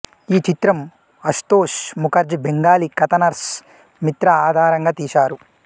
ఈ చిత్రం అషుతోష్ ముఖర్జీ బెంగాలీ కథ నర్స్ మిత్ర ఆధారంగా తీశారు